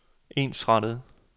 ensrettet